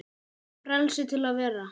Frelsi til að vera.